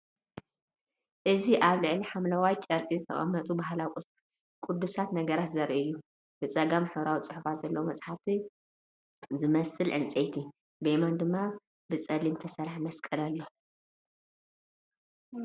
እዚ ኣብ ልዕሊ ሐምላይ ጨርቂ ዝተቐመጡ ባህላዊ ቅዱሳት ነገራት ዘርኢ እዩ። ብጸጋም ሕብራዊ ጽሑፋት ዘለዎ መጽሓፍ ዝመስል ዕንጨይቲ፡ ብየማን ድማ ብሓጺን ዝተሰርሐ መስቀል ኣሎ።